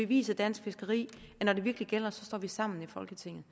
vise dansk fiskeri at når det virkelig gælder står vi sammen i folketinget